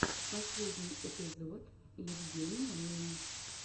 последний эпизод евгения мин